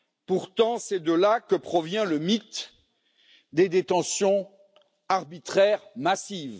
Pourtant, c'est de là que provient le mythe des détentions arbitraires massives.